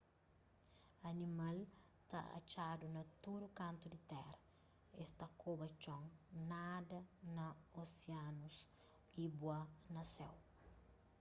animal ta atxadu na tudu kantu di tera es ta koba txon nada na osianus y bua na séu